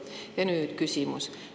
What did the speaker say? Ja nüüd küsimus.